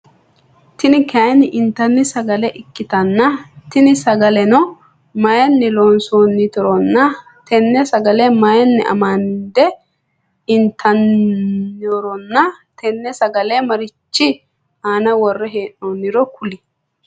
Tini kaayinni inttanni sagale ikkitanna tini sagaleno mayiinni loosantinoronna tenne sagale mayiinni amandde inttanironna tenne sagale marichchi aana worre heenooniro kuli?